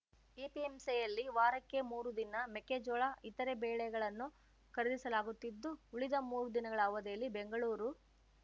ಎಪಿಎಂಸಿಯಲ್ಲಿ ವಾರಕ್ಕೆ ಮೂರು ದಿನ ಮೆಕ್ಕೇಜೋಳ ಇತರೆ ಬೇಳೆಗಳನ್ನು ಖರೀದಿಸಲಾಗುತ್ತಿದ್ದು ಉಳಿದ ಮೂರು ದಿನಗಳ ಅವಧಿಯಲ್ಲಿ ಬೆಂಗಳೂರು